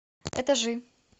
этажи